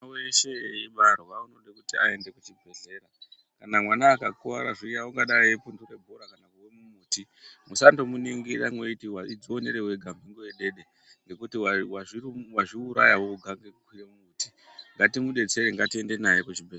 Mwana weshe eibarwa unode kuti aende kuchibhedhlera kana mwana akakuwara zviyani ungadai epundure bhora kana kuwe mumuti musandomuningira meiti waidzionera wega mhungu yedede ngekuti wazviuraya wega ngekukwire mumbuti ngatimudetsere ngatiende naye kuchibhedhlera.